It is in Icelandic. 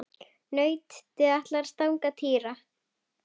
Nautið ætlaði að stanga Týra.